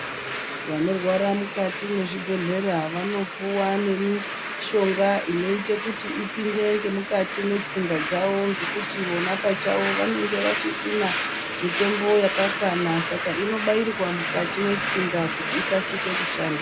Vanorwara mukati mwezvibhedhlera vanopuwa nemishonga inoite kuti ipinde ngemukati mwetsinga dzavo ngekuti vona pachavo vanenge vasisina mitombo yakakwana saka inobairwa mukati mwetsinga kuti ikasike kushanda.